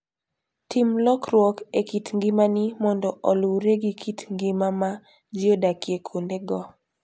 Tim lokruok e kit ngimani mondo oluwre gi kit ngima ma ji odakie kuondego.